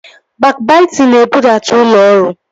Bakbaitịn na-ebudata ụlọ ọrụ